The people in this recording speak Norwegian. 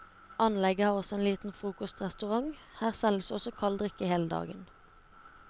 Anlegget har også en liten frokostrestaurant, her selges også kald drikke hele dagen.